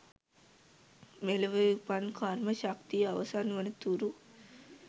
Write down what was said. මෙලොව උපන් කර්ම ශක්තිය අවසන් වන තුරු